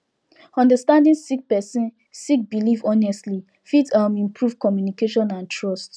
understanding sik person sik biliv honestly fit um improve communication and trust